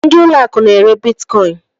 Ndị ụlọ akụ n'ere bitkọin